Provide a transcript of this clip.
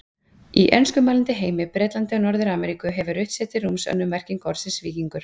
Í enskumælandi heimi, Bretlandi og Norður-Ameríku, hefur rutt sér til rúms önnur merking orðsins víkingur.